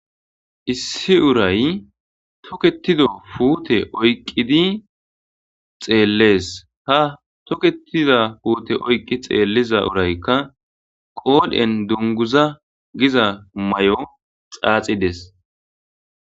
Issi uray toketida puute oyqqidi xeellees ha toketida puute oyqqi xeelliza uraykka qoodhen dunguza giza may7o xaaxides.